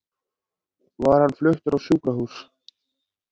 Var hann fluttur á sjúkrahús.